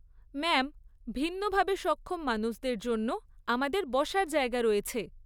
Ma'am, ভিন্নভাবে সক্ষম মানুষদের জন্য আমাদের বসার জায়গা রয়েছে।